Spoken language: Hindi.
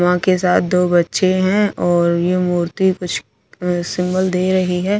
मां के साथ दो बच्‍चे हैं और ये मूर्ति कुछ अ सिंगल दे रही है।